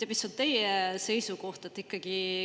Mis on teie seisukoht?